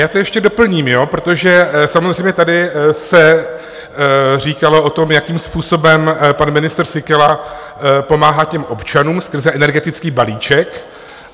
Já to ještě doplním, protože samozřejmě tady se říkalo o tom, jakým způsobem pan ministr Síkela pomáhá těm občanům skrze energetický balíček.